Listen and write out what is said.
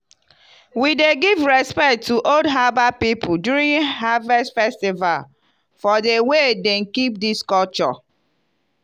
we dey give respect to old herbal people during harvest festival for the way dem keep these culture.